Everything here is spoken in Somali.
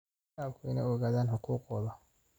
Shacabku waa inay ogaadaan xuquuqdooda.